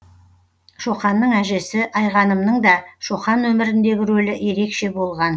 шоқанның әжесі айғанымның да шоқан өміріндегі рөлі ерекше болған